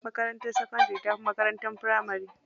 Makarantar sakandari tafi makarantar firamari.